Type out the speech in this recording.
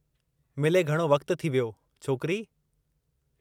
मिले घणो वक़्तु थी वियो, छोकिरी।